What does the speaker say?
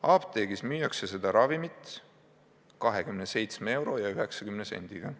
Apteegis müüakse seda ravimit 27 euro ja 90 sendi eest.